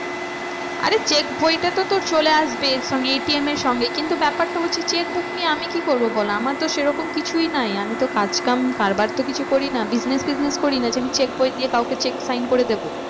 আরে check বইটা তো তোর চলে আসবে এর সঙ্গে ATM এর সঙ্গে কিন্তু ব্যাপারটা হচ্ছে check book নিয়ে আমি কি করবো বল? আমার সে রকম কিছুই নাই। আমি তো কাজ কাম কারবার তো কিছু করি না business ফিসনেস করি না যে আমি check বই দিয়ে কাউকে check sign করে দেবো।